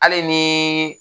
Hali nin